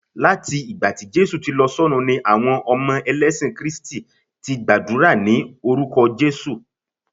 lati ìgbà tí Jésù ti lọ s'ọrun ni àwọn elesin lẹyìn kristi ti gbàdúrà ni orúkọ jesu